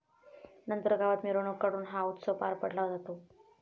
नंतर गावात मिरवणूक काढून हा उत्सव पार पडला जातो.